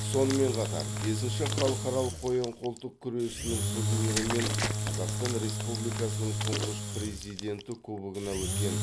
сонымен қатар бесінші халықаралық қоян қолтық күресінің турнирі мен қазақстан республикасының тұңғыш президенті кубогына өткен